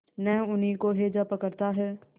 न उन्हीं को हैजा पकड़ता है